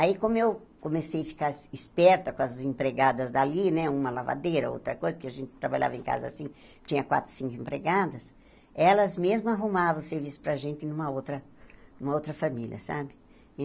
Aí, como eu comecei a ficar esperta com as empregadas dali, né, uma lavadeira, outra coisa, porque a gente trabalhava em casa assim, tinha quatro, cinco empregadas, elas mesmas arrumavam serviço para a gente numa outra numa outra família, sabe?